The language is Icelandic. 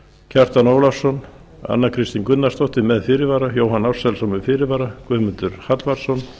kjartan ólafsson anna kristín gunnarsdóttir með fyrirvara jóhann ársælsson með fyrirvara guðmundur hallvarðsson